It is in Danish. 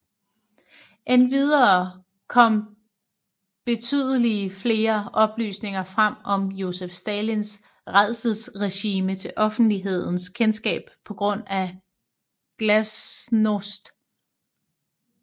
Endvidere kom betydeligt flere oplysninger frem om Josef Stalins rædselsregime til offentlighedens kendskab på grund af glasnost